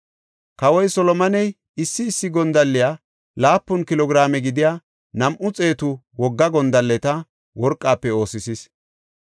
Kawoy Solomoney issi issi gondalley laapun kilo giraame gidiya nam7u xeetu wogga gondalleta worqafe oosisis.